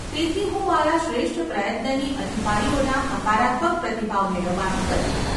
તેથી, હું મારા શ્રેષ્ઠ પ્રયત્નની અધિકારીઓના હકારાત્મક પ્રતિભાવ મેળવવાનું કરીશ.